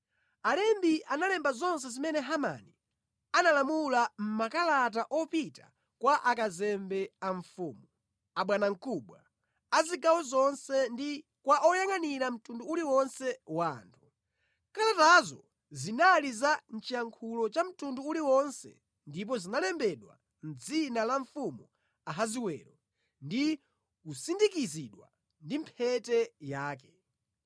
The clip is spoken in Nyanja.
Alembi analemba zonse zimene Hamani analamula mʼmakalata opita kwa akazembe a mfumu, abwanamkubwa a zigawo zonse ndi kwa oyangʼanira mtundu uliwonse wa anthu. Kalatazo zinali za mʼchiyankhulo cha mtundu uliwonse ndipo zinalembedwa mʼdzina la Mfumu Ahasiwero ndi kusindikizidwa ndi mphete yake.